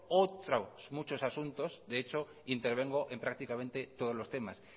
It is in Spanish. otros muchos asuntos de hecho intervengo en prácticamente en todos los temas